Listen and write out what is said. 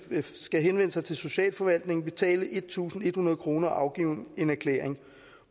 skal henvende sig til socialforvaltningen betale en tusind en hundrede kroner og afgive en erklæring